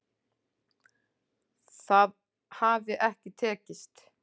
Það hafi ekki tekist